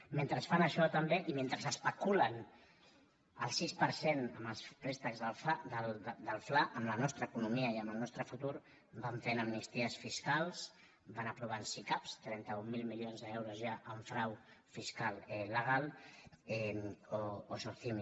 mentre fan això també i mentre especulen el sis per cent amb els préstecs del fla amb la nostra economia i amb el nostre futur van fent am·nisties fiscals van aprovant sicav trenta mil milions d’euros hi ha en frau fiscal legal o socimi